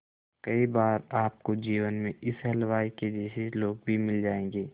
कई बार आपको जीवन में इस हलवाई के जैसे लोग भी मिल जाएंगे